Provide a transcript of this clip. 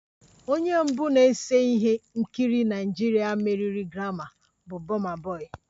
Onye mbụ na-ese ihe nkiri Naịjirịa meriri grammi bụ burna boy